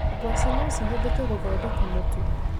Ngwacĩ no cihũthĩke gũthondeka mũtu.